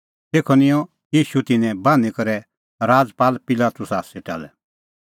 तेखअ निंयं ईशू तिन्नैं बान्हीं करै राजपाल पिलातुसा सेटा लै